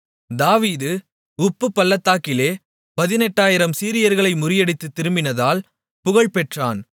தாவீது உப்புப்பள்ளத்தாக்கிலே 18000 சீரியர்களை முறியடித்துத் திரும்பினதால் புகழ்பெற்றான்